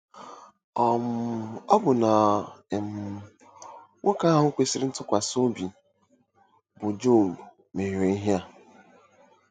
um Ọbụna um nwoke ahụ kwesịrị ntụkwasị obi bụ́ Job mehiere ihe a.